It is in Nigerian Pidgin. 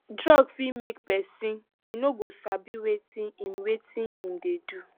drug fit make pesin e no go sabi wetin him wetin him dey do